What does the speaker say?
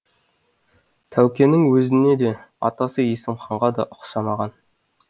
тәукенің өзіне де атасы есім ханға да ұқсамаған